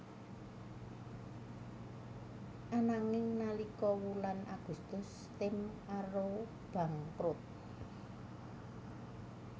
Ananging nalika wulan Agustus tim Arrows bangkrut